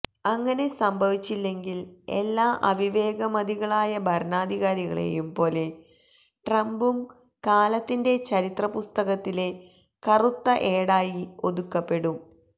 അങ്ങനെ സംഭവിച്ചില്ലെങ്കില് എല്ലാ അവിവേകമതികളായ ഭരണാധികാരികളെയും പോലെ ട്രംപും കാലത്തിന്റെ ചരിത്ര പുസ്തകത്തിലെ കറുത്ത ഏടായി ഒതുക്കപ്പെടും